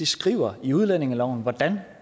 skriver i udlændingeloven hvordan